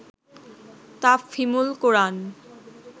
Tafhimul Quran